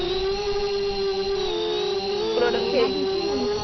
product હોય changes